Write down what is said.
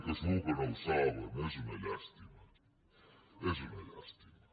que segur que no ho saben és una llàstima és una llàstima